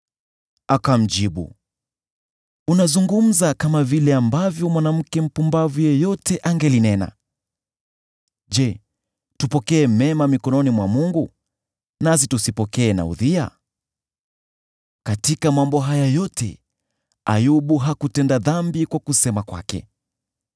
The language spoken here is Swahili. Akamjibu, “Unazungumza kama vile ambavyo mwanamke mpumbavu yeyote angenena. Je, tupokee mema mikononi mwa Mungu, nasi tusipokee na udhia?” Katika mambo haya yote, Ayubu hakutenda dhambi katika kusema kwake.